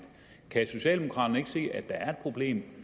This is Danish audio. kan socialdemokraterne ikke se at der er et problem